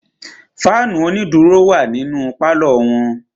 Fáànù onídùró wà nínú pálọ̀ wọn.